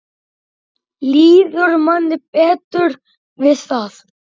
Líður manni betur við það?